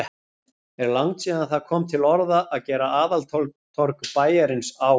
Er langt síðan það kom til orða, að gera aðaltorg bæjarins á